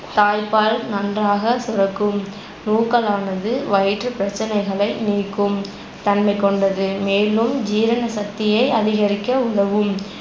தாய்ப்பால் நன்றாக சுரக்கும் நூக்களானது வயிற்றுப்பிரச்சனைகளை நீக்கும் தன்மைக்கொண்டது மேலும் ஜீரண சக்தியை அதிகரிக்க உதவும்